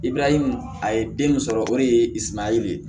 Ibirayi a ye den sɔrɔ o de ye isumaya le ye